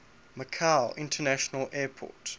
macau international airport